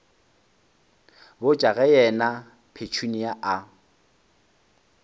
botša ge yena petunia a